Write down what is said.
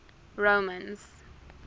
romans